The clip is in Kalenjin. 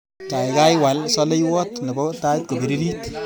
Kaikai wal saleiwot nebo tait kopiririt.